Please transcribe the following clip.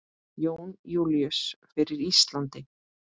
Jón Júlíus: Fyrir Íslandi?